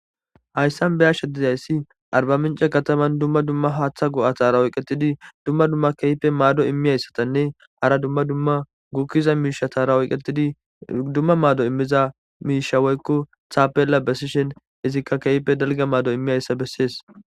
Hayssan be yasha dizayssi arba mince kataman dumma dumma haaththa go'a taarawey qetidi dumma dumma keype maado immiyayssatanne hara dmadummagukkiza miisha taarawoy qetidi dumma maado immiza miishaweykko thaapela besishen izikka keype dalga maado immiyayssa bessees.